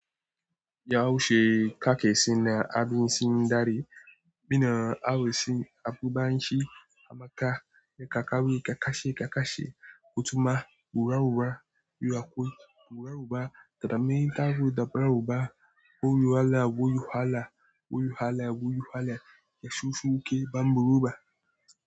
Ya'u she ka ke si na, abin sin dare. Bi na, a'u si abu ba nsi, a ma ka, ne ka kawe, ka kashe, ka kashe. Ku tuma, wurawura, yu akwai, wurawu ba, tada me ta ru, tada ru ba. Wuyu hala, wuyu hala, wuyu hala, wuyu hala. Ya shushe yake, ban buro ba.